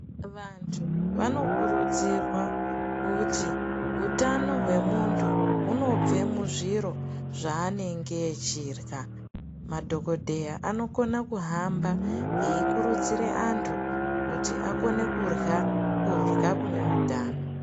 Vantu vanokurudzirwa kuti utano hwemuntu hunobve muzviro zvaanenge echirya. Madhokodheya anokona kuhamba eikurudzira antu kuti akone kurya, kurya kune utano.